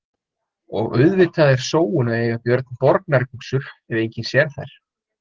Og auðvitað er sóun að eiga Björn Borg nærbuxur ef enginn sér þær.